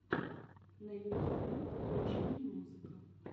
на ютубе включи мне музыка